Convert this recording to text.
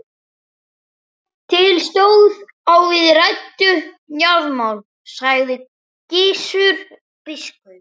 Til stóð að við ræddum jarðamál, sagði Gizur biskup.